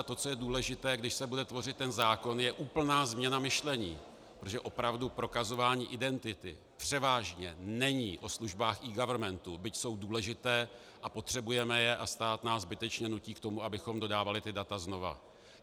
A to, co je důležité, když se bude tvořit ten zákon, je úplná změna myšlení, protože opravdu prokazování identity převážně není o službách eGovernmentu, byť jsou důležité a potřebujeme je, a stát nás zbytečně nutí k tomu, abychom dodávali ta data znova.